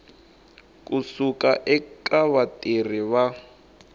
ku suka eka vatirhi va